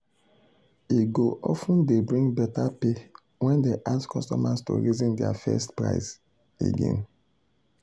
e go of ten dey bring better pay when dem ask customers to reason dia first price again.